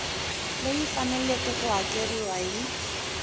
leyi faneleke ku hakeriwa hi